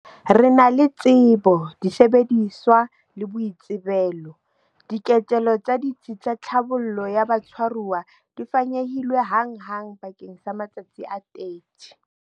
Re na le tsebo, disebediswa le boitsebelo. Diketelo tsa ditsi tsa tlhabollo ya batshwaruwa di fanyehilwe hanghang bakeng sa matsatsi a 30.